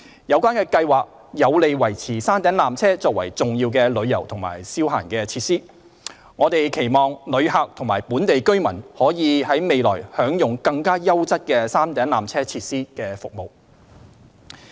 有關計劃有利維持山頂纜車作為重要的旅遊及消閒設施，我們期望旅客及本地居民未來可享用更優質的山頂纜車設施及服務。